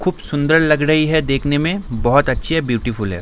खूब सुन्दर लग रही है देखने में बहुत अच्छी है ब्यूटीफुल है ।